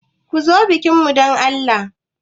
Ku zo bikin mu dan Allah.